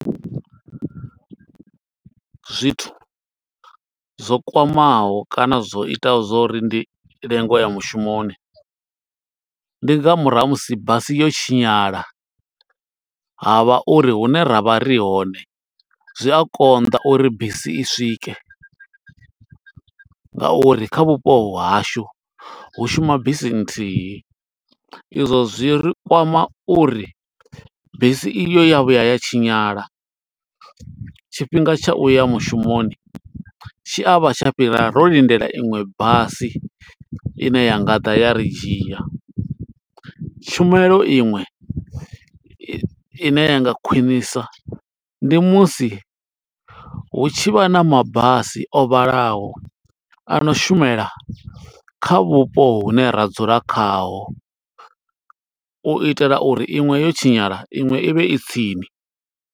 Zwithu zwo kwamaho kana zwo itaho zwo uri ndi lenge u ya mushumoni. Ndi nga murahu ha musi basi yo tshinyala ha vha uri hune ra vha ri hone, zwi a konḓa uri bisi i swike. Nga uri kha vhupo hashu hu shuma bisi nthihi, izwo zwi ri kwama uri bisi iyo ya vhuya ya tshinyala. Tshifhinga tsha uya mushumoni tshi a vha tsha fhira ro lindela inwe basi, ine ya nga ḓa ya ri dzhia. Tshumelo iṅwe i ne ya nga khwinisa, ndi musi hu tshi vha na mabasi o vhalaho, ano shumela kha vhupo hune ra dzula khaho. U itela uri iṅwe yo tshinyala iṅwe i vhe i tsini.